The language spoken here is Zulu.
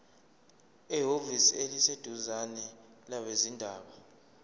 ehhovisi eliseduzane labezindaba